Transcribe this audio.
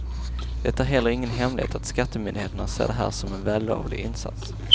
Det är heller ingen hemlighet att skattemyndigheterna ser det här som en vällovlig insats.